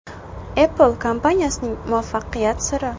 Apple kompaniyasining muvaffaqiyat siri.